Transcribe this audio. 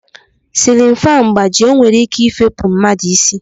Silin fanụ gbajie o nwere ike ifepu mmadụ isi.